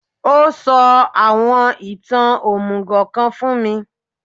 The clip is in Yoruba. Ó sọ àwọn ìtàn òmùgò kan fún mi